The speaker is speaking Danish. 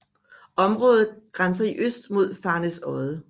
Området grænser i øst mod Farnæsodde